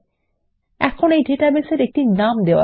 এখন ডেটাবেস এর একটি নাম দেওয়া যাক